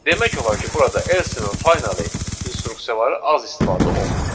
Demək olar ki, burada else və finally instruksiyaları az istifadə olunur.